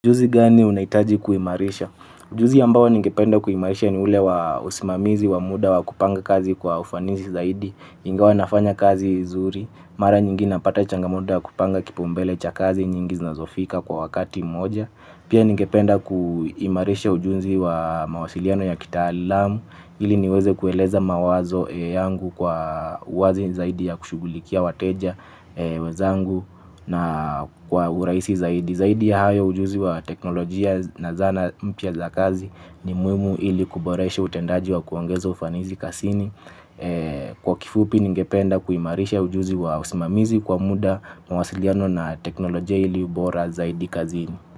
Ujuzi gani unahitaji kuimarisha? Ujuzi ambao ningependa kuimarisha ni ule wa usimamizi wa muda wa kupanga kazi kwa ufanisi zaidi ingawa nafanya kazi vizuri mara nyingi napata changamoto ya kupanga kipaumbele cha kazi nyingi zinazofika kwa wakati mmoja pia ningependa kuimarisha ujuzi wa mawasiliano ya kitaalamu ili niweze kueleza mawazo yangu kwa uwazi zaidi ya kushughulikia wateja wenzangu na kwa urahisi zaidi zaidi ya hayo ujuzi wa teknolojia na zana mpya za kazi ni muhimu ili kuboresha utendaji wa kuongeza ufanisi kazini kwa kifupi ningependa kuimarisha ujuzi wa usimamizi kwa muda mawasiliano na teknolojia ili ubora zaidi kazini.